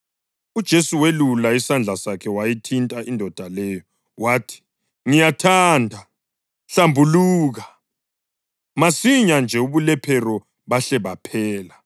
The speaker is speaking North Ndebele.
UJesu welula isandla sakhe wayithinta indoda leyo. Wathi, “Ngiyathanda. Hlambuluka!” Masinyane nje ubulephero bahle baphela.